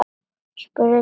spurði Daði.